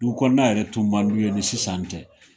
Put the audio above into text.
Dugu kɔnɔ na yɛrɛ tun ma d'u ye ni sisan tɛ.